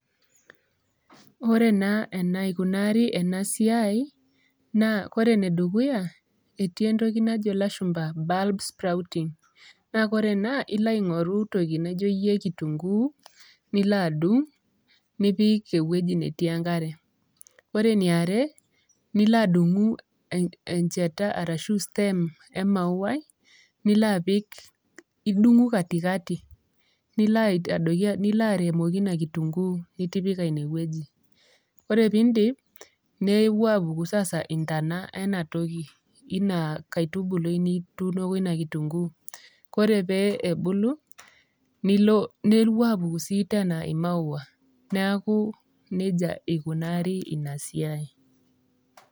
Oore naa enaikunari eena siai, naa oore enedukuya etii entoki najo ilashumba bulb sprouting naa oore eena ilo aing'oru entoki nijo iiyie kitunguu, nilo adung, nipik ewueji netii enkare. Oore eniare nilo adung'u enchata arashu stem amauai, nilo apik, idung'u katikati, nilo airemoki iina kitunguu nitipika iine wueji. Ore piidip nepuo aapuku sasa intona eena toki iina katubului nituunoko iina kitunguu. Koore pee ebulu, nepuo apuku sii teena imaua niaku nejia ikunari iina siai.